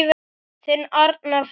Þinn Arnar Freyr.